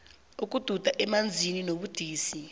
ukududa emanzini kubudisi